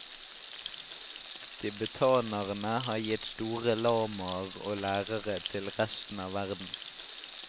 Tibetanerne har gitt store lamaer og lærere til resten av verden.